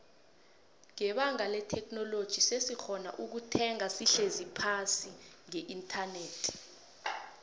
nbebanga letheknoloji sesikgona ukuthenga sihlezi phasi ngeinternet